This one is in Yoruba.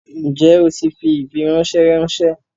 Njẹ̀ o ti fi ifiransẹ ránṣẹ?